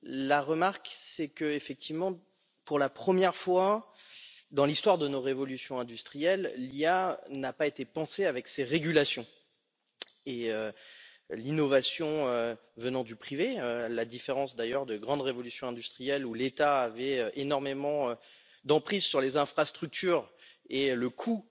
La remarque, c'est qu'effectivement, pour la première fois dans l'histoire de nos révolutions industrielles, l'intelligence artificielle n'a pas été pensée avec ses régulations et l'innovation est venue du privé, à la différence d'ailleurs des grandes révolutions industrielles où l'État avait énormément d'emprise sur les infrastructures et où le coût